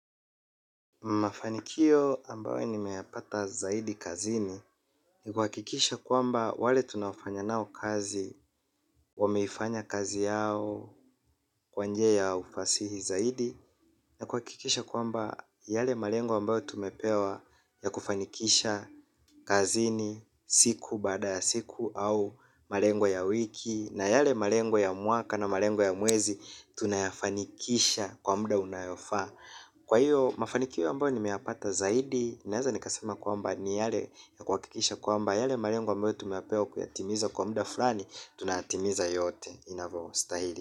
Mafanikio ambayo nimeyapata zaidi kazini. Ni kuhakikisha kwamba wale tunafanya nao kazi wameifanya kazi yao kwa njia ya ufasihi zaidi. Na kuhakikisha kwamba yale malengo ambayo tumepewa ya kufanikisha kazini siku baada ya siku au malengo ya wiki. Na yale malengo ya mwaka na malengo ya mwezi. Tunayafanikisha kwa muda unaofaa. Kwa iyo mafanikio ambayo nimeyapata zaidi naeza nikasema kwamba ni yale. Kuhakikisha kwamba yale malengo ambayo tumepewa kuyatimiza kwa muda fulani. Tunayatimiza yote inavostahili.